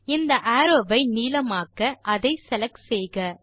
இந்த அரோவ் ஐ நீளமாக்க அதை செலக்ட் செய்க